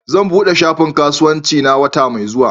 Zan buɗe shafin kasuwancina wata mai zuwa